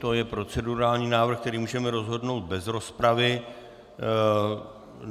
To je procedurální návrh, který můžeme rozhodnout bez rozpravy.